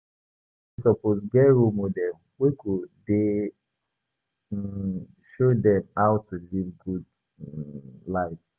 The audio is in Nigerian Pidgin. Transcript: Everybodi suppose get role model wey go dey um show dem how to live good um life.